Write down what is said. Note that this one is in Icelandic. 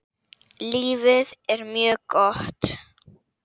Lífið er mjög gott.